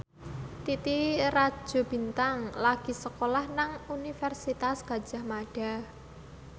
Titi Rajo Bintang lagi sekolah nang Universitas Gadjah Mada